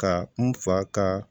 Ka n fa ka